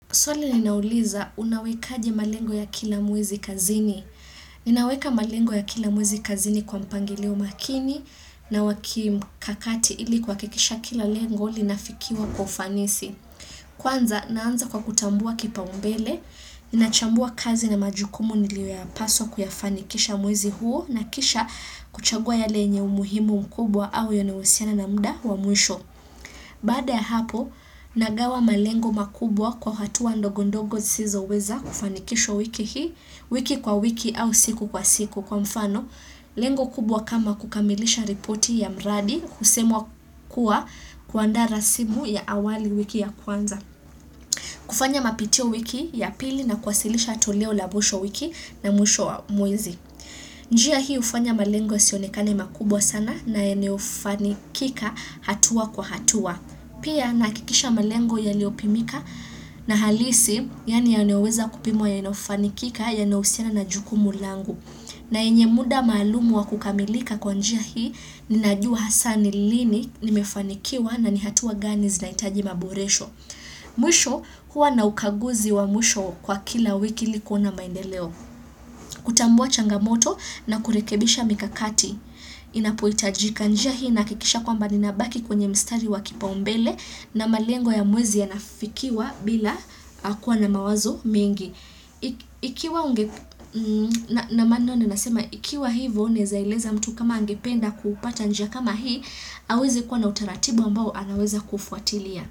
Swali linauliza unawekaje malengo ya kila mwezi kazini. Ninaweka malengo ya kila mwezi kazini kwa mpangilio makini na wa kimkakati ili kuhakikisha kila lengo linafikiwa kwa ufanisi. Kwanza, naanza kwa kutambua kipaumbele. Ninachambua kazi na majukumu nilio ya paswa kuyafanikisha mwezi huo na kisha kuchagua yale yenye umuhimu mkubwa au yanayowasiana na mda wa mwisho. Baada ya hapo, nagawa malengo makubwa kwa hatuwa ndogo ndogo zisizo weza kufanikishwa wiki hii, wiki kwa wiki au siku kwa siku kwa mfano, lengo kubwa kama kukamilisha ripoti ya mradi kusemwa kuwa kuandaa rasibu ya awali wiki ya kwanza. Kufanya mapitio wiki ya pili na kwasilisha toleo la mwisho wiki na mwisho wa mwezi. Njia hii hufanya malengo isionekane makubwa sana na yenye hufanikika hatua kwa hatua. Pia nahakikisha malengo yaliopimika na halisi yaani yanaweza kupimwa yanayofanikika yanahusiana na jukumu langu. Na yenye muda maalumu wa kukamilika kwa njia hii, ninajua hasa ni lini nimefanikiwa na ni hatua gani zinahitaji maboresho. Mwisho kuwa na ukaguzi wa mwisho kwa kila wiki ili kuona maendeleo. Kutambua changamoto na kurekebisha mikakati. Inapohitajika njia hii inahakikisha kwamba ninabaki kwenye mstari wa kipaumbele na malengo ya mwezi yanafikiwa bila kuwa na mawazo mengi. Ikiwa hivyo naeza eleza mtu kama angependa kupata njia kama hii aweze kuwa na utaratibu ambao anaweza kufuatilia.